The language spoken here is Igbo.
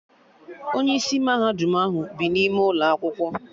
Onye isi mahadum ahụ bi n'ime ụlọ akwụkwọ